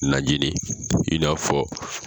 Najini i n'a fɔ